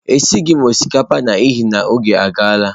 Esighị m osikapa n'ihi na oge agaala